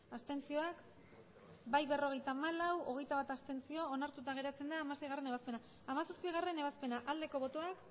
abstenzioak emandako botoak hirurogeita hamabost bai berrogeita hamalau abstentzioak hogeita bat onartuta geratzen da hamaseigarrena ebazpena hamazazpigarrena ebazpena aldeko botoak